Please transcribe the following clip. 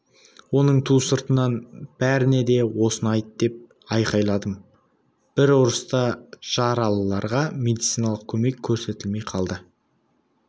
оның ту сыртынан бәріне де осыны айт деп айқайладым бір ұрыста жаралыларға медициналық көмек көрсетілмей қалды